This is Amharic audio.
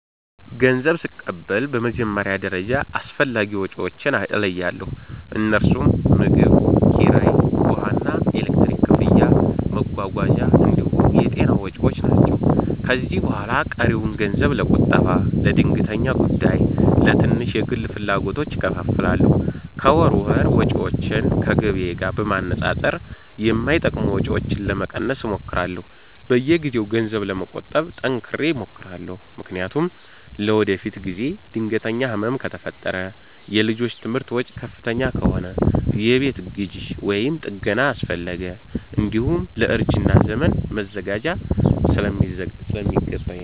ገንዘብ ስቀበል በመጀመሪያ ደረጃ አስፈላጊ ወጪዎቼን እለያለሁ፤ እነርሱም ምግብ፣ ኪራይ፣ ውሃና ኤሌክትሪክ ክፍያ፣ መጓጓዣ እንዲሁም የጤና ወጪ ናቸው። ከዚያ በኋላ ቀሪውን ገንዘብ ለቁጠባ፣ ለድንገተኛ ጉዳይና ለትንሽ የግል ፍላጎቶች እከፋፍላለሁ። ከወር ወር ወጪዎቼን ከገቢዬ ጋር በማነጻጸር የማይጠቅሙ ወጪዎችን ለመቀነስ እሞክራለሁ። በየጊዜው ገንዘብ ለመቆጠብ ጠንክሬ እሞክራለሁ፤ ምክንያቱም ለወደፊት ጊዜ ድንገተኛ ህመም ከፈጠረ፣ የልጆች ትምህርት ወጪ ከፍተኛ ከሆነ፣ የቤት ግዢ ወይም ጥገና አስፈለገ፣ እንዲሁም ለእርጅና ዘመን መዘጋጀት ስለሚገባኝ ነው።